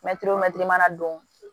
Mɛtiri o mɛtiri mana don